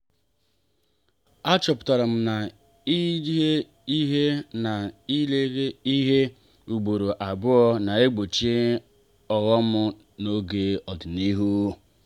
a chọpụtara m na-ịlele ihe na-ịlele ihe ugboro abụọ na-egbochi ọghọm n'oge ikpeazụ.